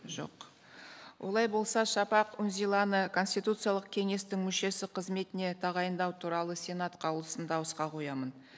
жоқ олай болса шапақ үнзиланы конституциялық кеңестің мүшесі қызметіне тағайындау туралы сенат қаулысын дауысқа қоямын